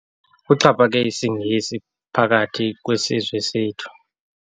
Kuxhaphake isiNgesi phakathi kwesizwe sethu.